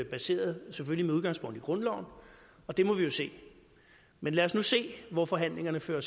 baseret med udgangspunkt i grundloven og det må vi jo se men lad os nu se hvor forhandlingerne fører